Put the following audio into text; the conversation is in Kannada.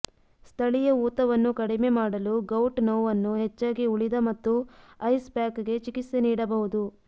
ಸ್ಥಳೀಯ ಊತವನ್ನು ಕಡಿಮೆ ಮಾಡಲು ಗೌಟ್ ನೋವನ್ನು ಹೆಚ್ಚಾಗಿ ಉಳಿದ ಮತ್ತು ಐಸ್ ಪ್ಯಾಕ್ಗೆ ಚಿಕಿತ್ಸೆ ನೀಡಬಹುದು